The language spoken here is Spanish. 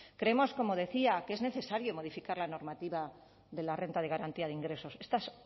creemos como decía que es necesario modificar la normativa de la renta de garantía de ingresos esta es